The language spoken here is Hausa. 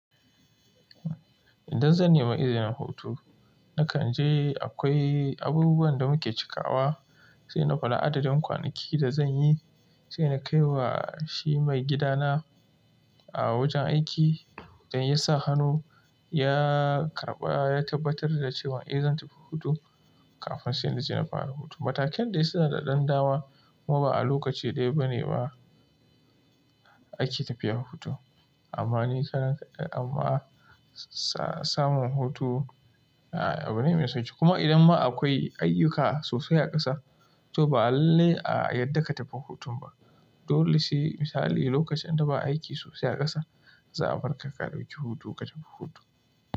Idan zan nemi izinin hutu, na kan je akwai abubuwan da muke cikawa, sai na faɗa adadin kwanaki da zan yi, sai na kaiwa shi maigidana a wajen aiki. Idan ya sa hannu ya karɓa ya tabbatar da cewa eh zan tafi hutu kafin sai na je na fara hutu. Matakan da yasa da ɗan dama kuma ba a lokaci ɗaya bane ba ake tafiya hutu. Amma ni karan amma samun hutu abu ne mai sauƙi. Kuma idan ma akwai ayyuka sosai a ƙasa, to ba alale a yadda ka tafi hutun ba. Dole sai misali lokacin da ba aiki sosai a ƙasa za a barka ka ɗauki hutu ka tafi hutu.